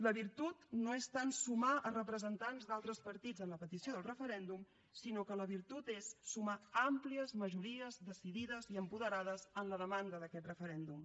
la virtut no és tant sumar representants d’altres partits en la petició del referèndum sinó que la virtut és sumar àmplies majories decidides i apoderades en la demanda d’aquest referèndum